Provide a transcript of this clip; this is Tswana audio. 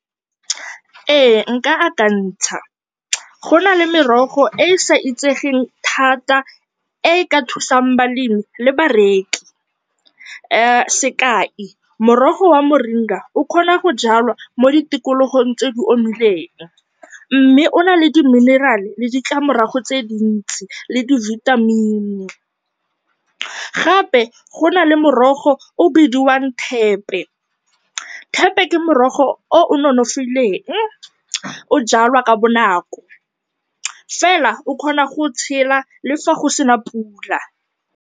Ee nka akantsha, go na le merogo e e sa itsegeng thata e e ka thusang balemi le bareki. Sekai, morogo wa moringa o kgona go jwalwa mo ditikologong tse di omileng mme o na le di-mineral le ditlamorago tse dintsi le di-vitamin. Gape go na le morogo o o bidiwang thepe. Thepe ke morogo o o nonofileng, o jwalwa ka bonako fela o kgona go tshela le fa go se na pula.